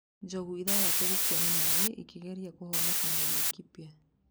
Njogu ithathatũ gũkua nĩ maĩ ikĩgeria kũhonokania Laikipia.